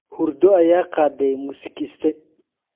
Hurdo ayaa qaaday muusikiiste.